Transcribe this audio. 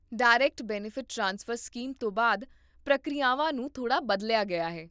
direct benefit transfer scheme ਤੋਂ ਬਾਅਦ, ਪ੍ਰਕਿਰਿਆਵਾਂ ਨੂੰ ਥੋੜ੍ਹਾ ਬਦਲਿਆ ਗਿਆ ਹੈ